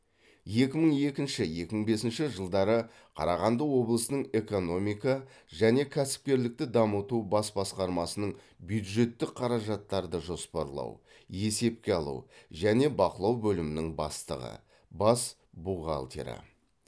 екі мың екінші екі мың бесінші жылдары қарағанды облысының экономика және кәсіпкерлікті дамыту бас басқармасының бюджеттік қаражаттарды жоспарлау есепке алу және бақылау бөлімінің бастығы бас бухгалтері